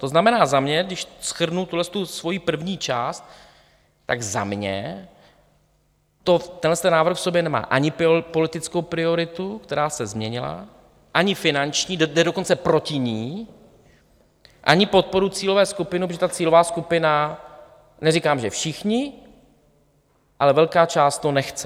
To znamená, za mě, když shrnu tuhle svoji první část, tak za mě tenhle návrh v sobě nemá ani politickou prioritu, která se změnila, ani finanční, jde dokonce proti ní, ani podporu cílové skupiny, protože ta cílová skupina, neříkám že všichni, ale velká část to nechce.